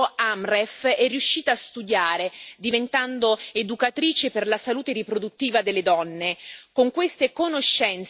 Con l'aiuto della NGO Amref è riuscita a studiare, diventando educatrice per la salute riproduttiva delle donne.